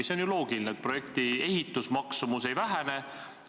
See on ju loogiline, et projekti ehitusmaksumus ei vähene.